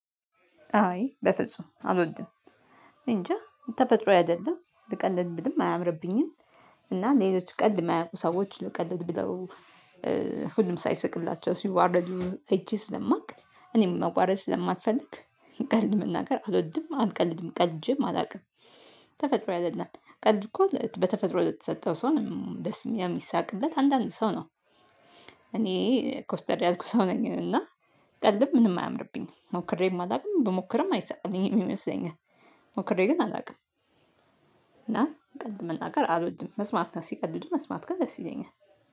አይ በፍጹም አልወድም። እንጃ የተፈጥሮ አይደለም ብቀልድብኝም አያምርብኝም። እና ሌሎች ቀልድ የማያውቁ ሰዎች ልቀልድ ብለው ሁሉም ሳይስቅላቸው ሲዋርድ እጄ ስለማውቅ እኔም መዋረድ ስለማልፈልግ ቀልድ መናገር አልወድም አልቀልድም ቀልጄም አላውቅም። ተፈጥሮዬ አይደለም። ቀልድ እኮ በተፈጥሮ ለተሰጠው ሰው ነው ደስ የሚሳቅበት አንዳንድ ሰው ነው። እኔ ኮስተር ያልኩ ሰው ነኝ እና ቀልድ ምንም አያምርብኝም ሞክሬ የማላውቅም ብሞክርም አይሳቅልኝም ይመስለኛል። ሞክሬ ግን አላውቅም። እና ቀልድ መናገር አልወድም። መስማት ሲቀልዱ መስማት ግን ደስ ይገኛል።